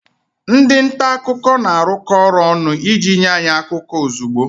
Ndị nta akụkọ na-arụkọ ọrụ ọnụ iji nye anyị akụkọ ozugbo